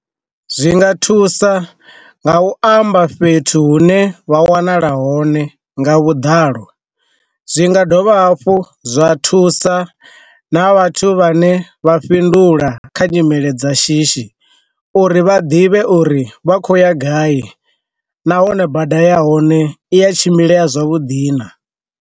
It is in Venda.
Zwi nga thusa nga u amba fhethu hune vha wanala hone nga vhuḓalo, zwi nga dovha hafhu zwa thusa na vhathu vhane vha fhindula kha nyimele dza shishi uri vha ḓivhe uri vha khou ya gai, nahone bada ya hone i ya tshimbile zwavhuḓi na.